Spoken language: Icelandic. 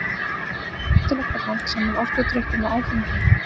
Er hættulegt að blanda saman orkudrykkjum og áfengi?